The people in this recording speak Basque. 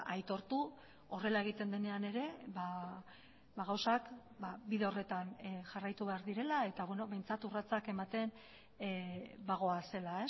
aitortu horrela egiten denean ere gauzak bide horretan jarraitu behar direla eta behintzat urratsak ematen bagoazela